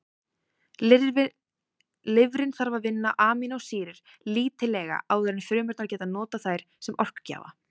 Lifrin þarf að vinna amínósýrur lítillega áður en frumurnar geta notað þær sem orkugjafa.